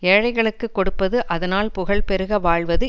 ஏழைகளுக்குக் கொடுப்பது அதனால் புகழ் பெருக வாழ்வது